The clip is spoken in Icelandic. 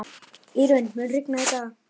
Írunn, mun rigna í dag?